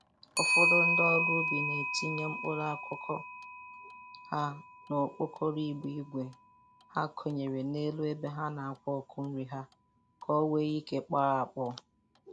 Ufọdụ ndị ọrụ ubi na-etinye.mkpụrụ akụkụ ha n'okpokoro igbe igwe ha ekonyere n'elu ebe ha na-akwa ọkụ nri ha ka o nwee ike kpọọ akpọọ.